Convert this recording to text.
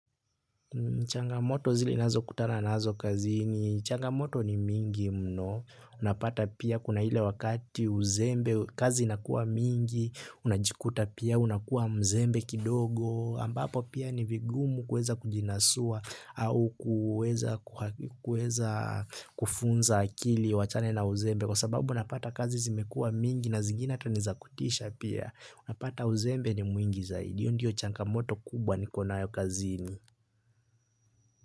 Changamoto zile nazokutana nazo kazini. Changamoto ni mingi mno. Unapata pia kuna ile wakati uzembe. Kazi inakua mingi. Unajikuta pia unakua mzembe kidogo. Ambapo pia ni vigumu kuweza kujinasua au kuweza kufunza akili iwaachane na uzembe. Kwa sababu umepata kazi zimekuwa mingi na zingine ni za kutisha pia. Unapata uzembe ni mwingi zaidi. iYo ndiyo changamoto kubwa nikonayo kazini.